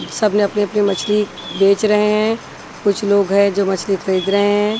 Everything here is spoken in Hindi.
सबने अपनी अपनी मछली बेच रहे हैं कुछ लोग हैं जो मछली खरीद रहे हैं।